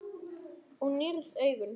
Þú nýrð augun.